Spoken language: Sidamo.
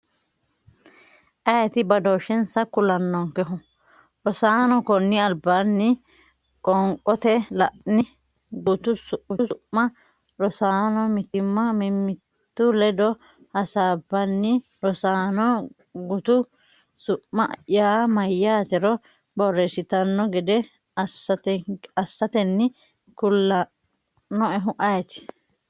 Ayeeti badooshshensa kulannonkehu? Rosaano konni albaanni qoonqote La’ini? Gutu su’ma Rosaano mimmitu ledo hasaabbanni Rosaano gutu su’ma yaa mayyaatero borreessitanno gede assatenni kulannoehu ayeeti?